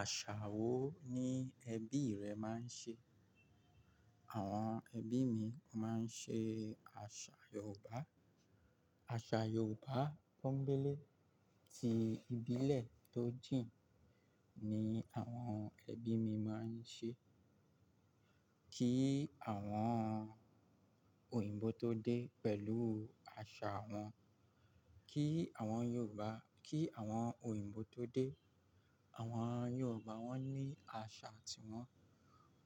Àṣà wo ni ẹbí rẹ máa ń ṣe? Àwọn ẹbí mi wọ́n máa ń ṣe àṣà Yorùbá. Àṣà Yorùbá tó gbélé tí ìbílẹ̀ tó jìn ni àwọn ẹbí mi máa ń ṣe. Kí àwọn òyìnbó tó dé pẹ̀lú àṣà wọn, kí àwọn Yorùbá-- kí àwọn òyìnbó tó dé, àwọn Yorùbá wọ́n ní àṣà tiwọn,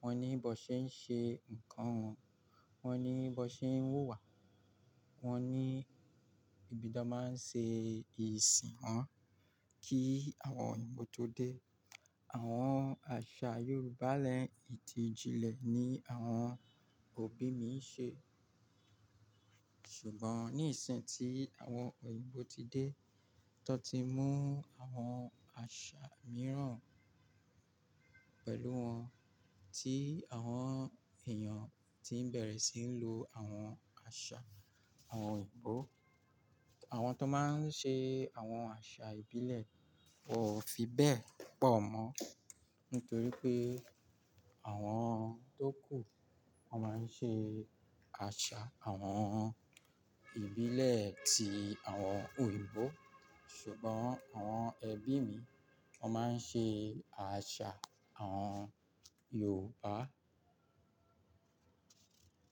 wọ́n ní bó ṣe ń ṣe ǹkan wọn, wọ́n ní bó ṣe ń wuwá, wọ́n ní ibi tí wọ́n máa ń ṣe ìsìn wọn. Kí àwọn òyìnbó tó dé, àmọ àṣà Yorùbá lẹ́ Ìtìjìlẹ̀ ni àwọn òbí mi ń ṣe. Ṣùgbọ́n ní ìsìn ti àwọn òyìnbó ti dé, tan ti mú àwọn àṣà mìíràn pẹ̀lú wọn tí àwọn èèyàn tí ń bẹ̀rẹ̀ sí ń lo àwọn àṣà àwọn òyìnbó. Àwọn tó máa ń ṣe àwọn àṣà ìbílẹ̀ wọ́n ò fi bẹ́ẹ̀ pọ̀ mọ́, nítorí pé àwọn tó kù wọ́n máa ń ṣe àṣà àwọn ìbílẹ̀ tí àwọn òyìnbó. Ṣùgbọ́n àwọn ẹbí mi wọ́n máa ń ṣe àṣà àwọn Yorùbá.